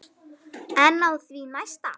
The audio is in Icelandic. En á því næsta?